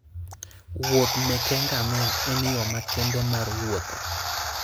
Wuoth meke ngamia en yo makende mar wuotho.